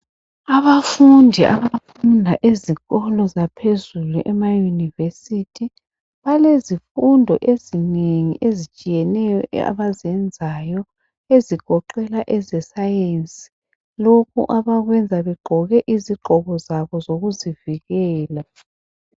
Abafundi abafunda ezikolo zaphezulu emayunivesithi balezifundo ezinengi ezitshiyeneyo abazenzayo ezigoqela eze sayensi lokhu abakwenza begqoke izigqoko zabo bezivukela.